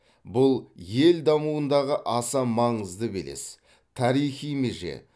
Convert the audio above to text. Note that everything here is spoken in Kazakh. бұл ел дамуындағы аса маңызды белес тарихи меже